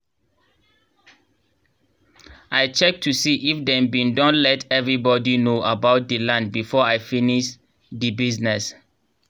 i check to see if dem bin don let everi body know about dey land before i finis dey bisness